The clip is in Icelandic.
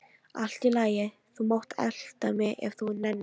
Allt í lagi, þú mátt elta mig ef þú nennir.